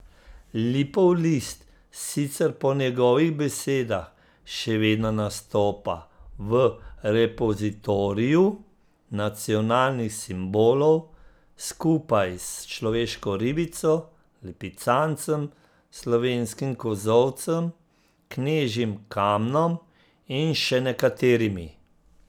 Lipov list sicer po njegovih besedah še vedno nastopa v repozitoriju nacionalnih simbolov, skupaj s človeško ribico, lipicancem, slovenskim kozolcem, knežjim kamnom in še nekaterimi.